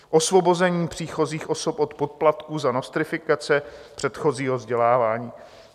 Osvobození příchozích osob od poplatků za nostrifikace předchozího vzdělávání.